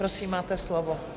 Prosím, máte slovo.